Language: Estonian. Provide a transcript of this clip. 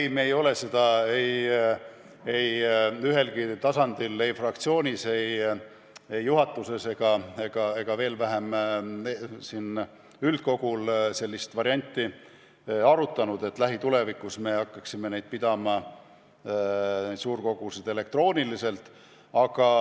Ei, me ei ole seda mingil tasandil, ei fraktsioonis, ei juhatuses ega veel vähem üldkogul sellist varianti arutanud, et lähitulevikus me hakkame suurkogusid pidama elektrooniliselt.